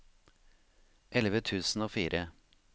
elleve tusen og fire